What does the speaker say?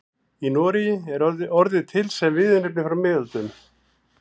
Í Noregi er orðið til sem viðurnefni frá miðöldum.